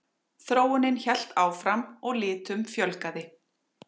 Þróunin hélt áfram og litum fjölgaði.